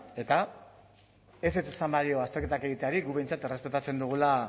eta ezetz esan badio azterketak egiteari guk behintzat errespetatzen dugula